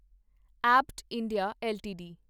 Abbott India LTD